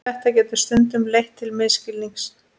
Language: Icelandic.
Þetta getur stundum leitt til misskilnings.